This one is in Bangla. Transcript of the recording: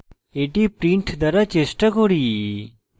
এটি print দ্বারা চেষ্টা করি